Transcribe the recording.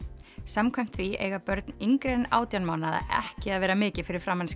samkvæmt því eiga börn yngri en átján mánaða ekki að vera mikið fyrir framan